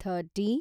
thirty